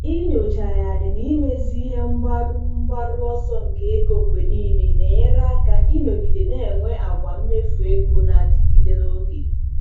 Inyochagharị na imezi ihe mgbaru mgbaru ọsọ nke ego mgbe nile na-enyere aka ịnọgide na-enwe àgwà mmefu ego na-adịgide n'oge.